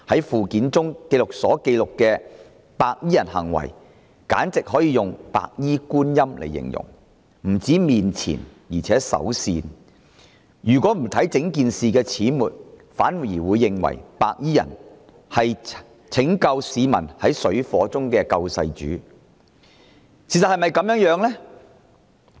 附表所記錄的白衣人行為簡直可以用"白衣觀音"來形容，他們不止面慈，而且手善，如果不留意整件事的始末，反而會認為白衣人是拯救市民於水深火熱之中的"救世主"。